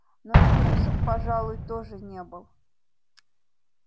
но и трусом пожалуй тоже не был